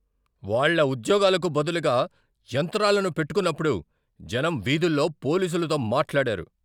వాళ్ళ ఉద్యోగాలకు బదులుగా యంత్రాలను పెట్టుకున్నప్పుడు జనం వీధుల్లో పోలీసులతో మాట్లాడారు.